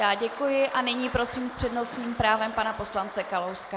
Já děkuji a nyní prosím s přednostním právem pana poslance Kalouska.